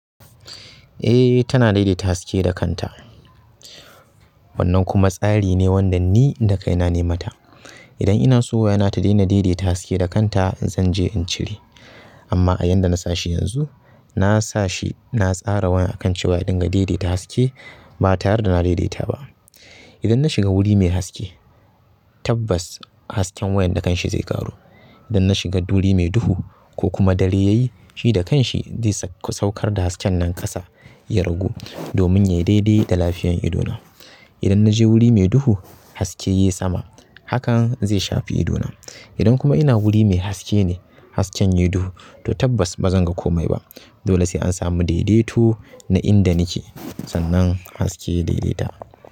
Eh tana dai-daita haske da kanta. Wannan kuma tsari ne wanda ni inda kai na, ne ma ta. Idan ina so waya na ta daina dai-daita haske da kanta zan je in cire. Amma a yanda na sashi yanzu, na sashi na tsara waya akan cewa idan ga dai-daita haske ba tayar da na dai-daita ba. Idan na shiga wuri mai haske, tabbas hasken wayan da kan shi zai kawo idan na shiga duri mai duhu ko kuma dare yayi, shi da kanshi zai saukar da hasken nan ƙasa, ya ragu domin ya yi dai-dai da lafiyan idona. Idan na je wuri mai duhu haske ya yi sama, hakan zai shafi idona. Idan kuma ina guri mai haske ne, hasken yayi duhu, to tabbas bazan ga komai ba dole sai an sami dai-daito da inda nake, sannan haske ya dai-daita.